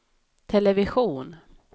television